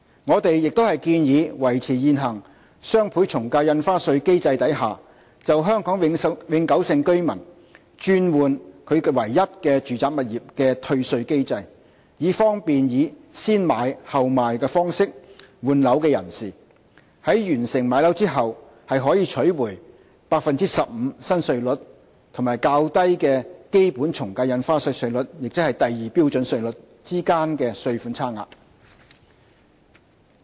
我們亦建議維持現行雙倍從價印花稅機制下，為香港永久性居民轉換其唯一住宅物業而設的退稅機制，以方便以"先買後賣"方式換樓的人士，在完成賣樓後可取回 15% 新稅率與較低的基本從價印花稅稅率，即第2標準稅率之間的稅款差額。